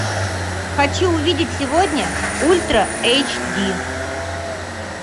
хочу увидеть сегодня ультра эйч ди